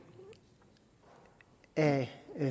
at